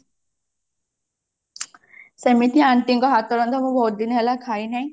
ସେମିତି aunty ଙ୍କ ହାତ ରନ୍ଧା ମୁଁ ବହୁତ ଦିନ ହେଲା ଖାଇ ନାହିଁ